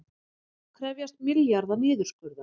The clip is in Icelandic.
Krefjast milljarða niðurskurðar